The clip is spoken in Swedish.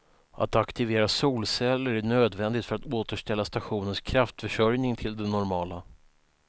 Att aktivera solceller är nödvändigt för att återställa stationens kraftförsörjning till det normala.